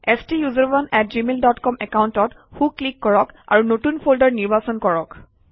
ষ্টাচাৰণে আত Gmail dot com একাউণ্টত সোঁ ক্লিক কৰক আৰু নতুন ফল্ডাৰ নিৰ্বাচন কৰক